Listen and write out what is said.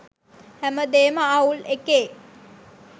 හැමදේම අවුල් එකේ